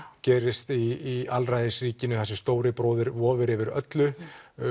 gerist í alræðisríkinu þar sem stóri bróðir vofir yfir öllu